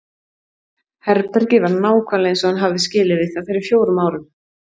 Herbergið var nákvæmlega eins og hann hafði skilið við það fyrir fjórum árum.